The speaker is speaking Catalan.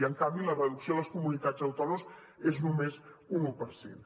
i en canvi la reducció a les comunitats autònomes és només un un per cent